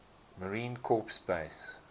marine corps base